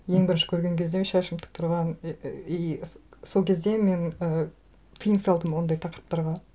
ең бірінші көрген кезде шашым тік тұрған ііі и сол кезде мен і тыйым салдым ондай тақырыптарға